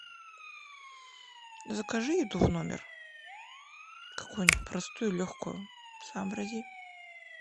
закажи еду в номер какую нибудь простую легкую сообрази